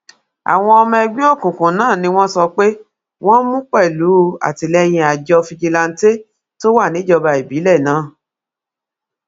àwọn ọmọ ẹgbẹ òkùnkùn náà ni wọn sọ pé wọn mú pẹlú àtìlẹyìn àjọ fìjìláńtẹ tó wà níjọba ìbílẹ náà